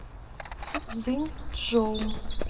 цзиньчжоу